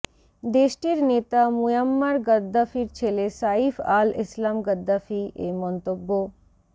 দেশটির নেতা মুয়াম্মার গাদ্দাফির ছেলে সাইফ আল ইসলাম গাদ্দাফি এ মন্তব্য